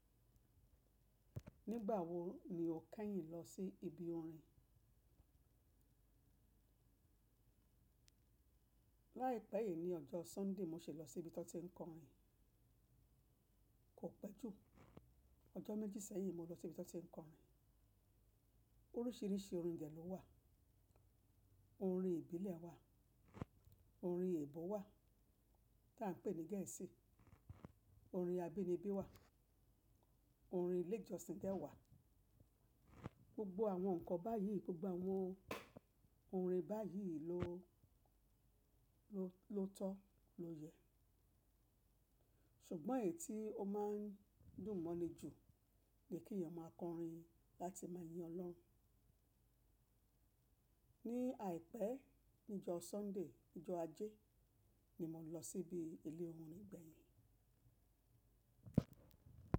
Nígbà wo ni o kẹ́yìn lọ sí ibi orin? Láìpẹ́ yìí ní ọjọ́ Sunday mo ṣẹ lọ sí ibi tan ti ń kọrin. Kò pẹ́ jù. Ọjọ́ méjì sẹ́yìn mo lọ sí ibi tan ti ń kọrin. Oríṣìíríṣìí oúnjẹ ló wà. Orin ìbílẹ̀ wà, orin èèbó wà tí à ń pè ní gẹẹsi, orin abínibí wà, orin ilé ìjọsìn dẹ́ wà. Gbogbo àwọn nǹkan báyìí, gbogbo àwọn orin báyìí ló, ló tọ́, ló yẹ. Ṣùgbọ́n èyí tí ó máa ń dùn mọ́ ni jù ni kí èèyàn máa kọrin láti máa yin Ọlọ́run. Ní àìpẹ́ ní jọ́ Sunday, ijọ́ ajé ni mo lọ síbi ilé orin gbẹ̀yìn.